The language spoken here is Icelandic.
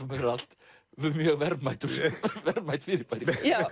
fyrir allt mjög verðmætt verðmætt fyrirbæri